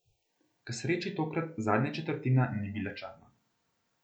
K sreči tokrat zadnja četrtina ni bila črna.